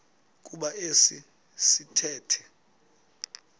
kuba esi sithethe